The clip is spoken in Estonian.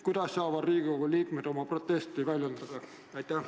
Kuidas saavad Riigikogu liikmed oma protesti väljendada?